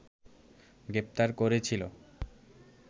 গ্রেপ্তার করেছিল